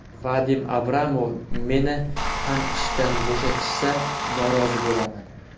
Vadim Abramov: Meni ham ishdan bo‘shatishsa norozi bo‘laman.